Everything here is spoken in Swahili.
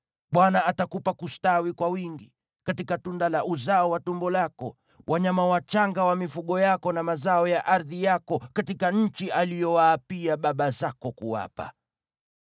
Bwana atakupa kustawi kwa wingi, katika tunda la uzao wa tumbo lako, katika wanyama wachanga wa mifugo yako na katika mazao ya ardhi yako, katika nchi aliyowaapia baba zako kuwapa.